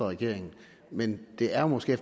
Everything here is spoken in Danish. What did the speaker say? regeringen men det er måske